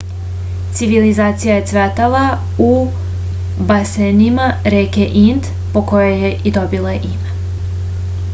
civilizacija je cvetala u basenima reke ind po kojoj je i dobila ime